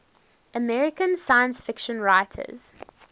american science fiction writers